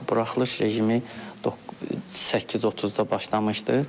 Buraxılış rejimi 8:30-da başlamışdı.